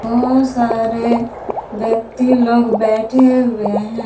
बहुत सारे व्यक्ति लोग बैठे हुए हैं।